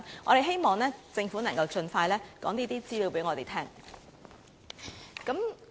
我希望政府能夠盡快把這些資料告訴我們。